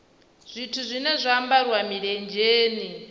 zwithu zwine zwa ambariwa milenzheni